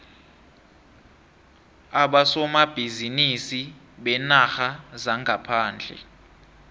abosomabhizinisi beenarha zangaphandle